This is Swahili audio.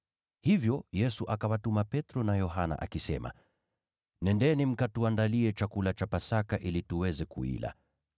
Hivyo Yesu akawatuma Petro na Yohana, akisema, “Nendeni mkatuandalie chakula cha Pasaka ili tuweze kuila.”